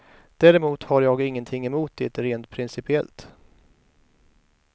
Däremot har jag ingenting emot det rent principiellt.